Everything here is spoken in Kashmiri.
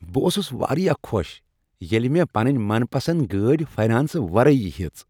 بہٕ اوسُس واریاہ خوش ییلِہ مےٚ پنٕنۍ من پسند گٲڑۍ فاینانسہٕ ورٲیی ہیٔژ ۔